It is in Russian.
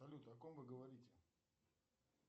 салют о ком вы говорите